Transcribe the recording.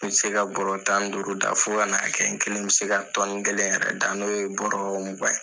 N bɛ se ka bɔrɔ tani duuru da fɔ ka na kɛ n kelen bɛ se ka tɔni kelen yɛrɛ da n'o ye bɔrɔ mugan ye